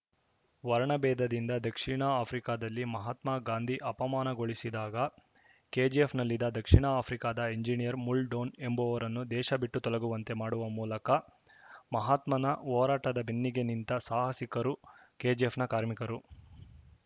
ವರ್ಣ ಭೇದದಿಂದ ದಕ್ಷಿಣ ಆಫ್ರಿಕದಲ್ಲಿ ಮಹಾತ್ಮ ಗಾಂಧಿ ಅಪಮಾನಗೊಳಿಸಿದಾಗ ಕೆಜಿಎಫ್‌ನಲ್ಲಿದ್ದ ದಕ್ಷಿಣ ಆಫ್ರಿಕದ ಎಂಜನಿಯರ್‌ ಮುಲ್‌ಡೋನ್‌ ಎಂಬುವವರನ್ನು ದೇಶ ಬಿಟ್ಟು ತೊಲಗುವಂತೆ ಮಾಡುವ ಮೂಲಕ ಮಹಾತ್ಮನ ಹೋರಾಟದ ಬೆನ್ನಿಗೆ ನಿಂತ ಸಾಹಸಿಕರು ಕೆಜಿಎಫ್‌ನ ಕಾರ್ಮಿಕರು